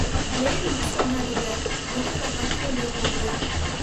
Blade use பண்ணாதீங்க, முகத்துல cut விழுந்துறப் போகுது.